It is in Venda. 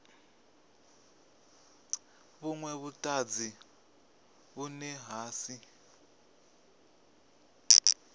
vhunwe vhutanzi vhune ha si